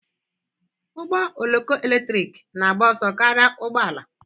Ụgbọ oloko eletrik na-agba ọsọ karịa ụgbọ ala?